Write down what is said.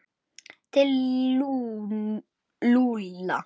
Til Lúlla?